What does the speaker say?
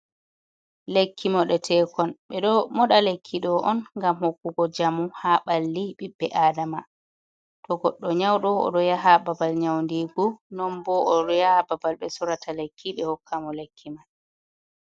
Lekki moɗeteekon ɓe ɗon moɗa lekki ɗo on ngam hokkugo njamu haa ɓalli ɓiɓɓe aadama, to goɗɗo nyawɗo o ɗo yaha babal nyawndigu, non bo o ɗo yaha babal ɓe sorrata lekki ɓe hokka mo lekki man